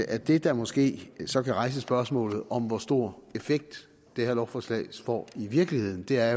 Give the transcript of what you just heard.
at det der måske så kan rejse spørgsmålet om hvor stor effekt det her lovforslag får i virkeligheden er